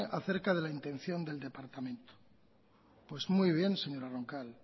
acerca de la intención del departamento pues muy bien señora roncal